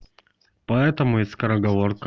поэтому и скороговорка